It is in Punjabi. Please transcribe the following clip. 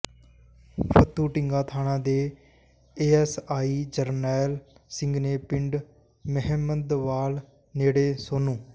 ਫੱਤੂਢੀਂਗਾ ਥਾਣਾ ਦੇ ਏਐਸਆਈ ਜਰਨੈਲ ਸਿੰਘ ਨੇ ਪਿੰਡ ਮੈਹਮਦਵਾਲ ਨੇੜੇ ਸੋਨੂੰ